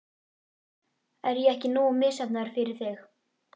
Er ég ekki nógu misheppnaður fyrir þig?